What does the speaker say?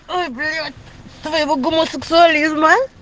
ой блять твоего гомосексуализма